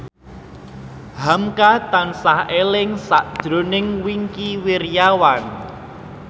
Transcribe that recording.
hamka tansah eling sakjroning Wingky Wiryawan